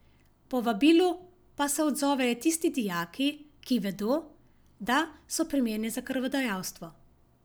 Povabilu pa se odzovejo tisti dijaki, ki vedo, da so primerni za krvodajalstvo.